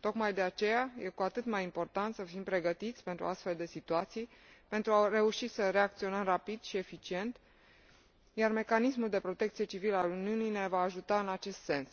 Tocmai de aceea, este cu atât mai important să fim pregătiți pentru astfel de situații, pentru a reuși să reacționăm rapid și eficient, iar mecanismul de protecție civilă al Uniunii ne va ajuta în acest sens.